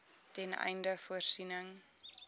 ten einde voorsiening